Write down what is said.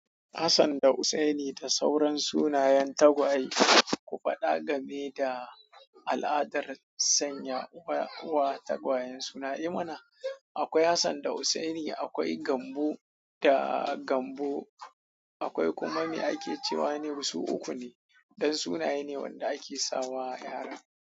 Hassan da Husaini da sauran sunayen tagwaye. Ku faɗa game da al'adar sanya wa tagwayen sunaye mana. Akwai Hassan da Husaini, akwai Gambo da Gambo, akwai kuma me ake cewa ne masu uku ne. Ɗan sunaye ne wanda ake sawa yara.